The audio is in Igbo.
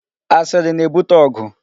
Asiri na-ebute ọgụ.